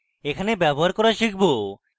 এখানে ব্যবহার করা শিখব